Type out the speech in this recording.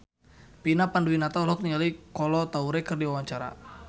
Vina Panduwinata olohok ningali Kolo Taure keur diwawancara